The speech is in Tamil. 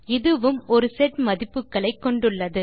இதுவும் ஒரு செட் மதிப்புகளை கொண்டுள்ளது